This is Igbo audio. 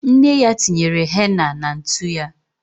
Nne ya tinyere henna na ntu ya.